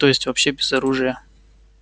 то есть вообще без оружия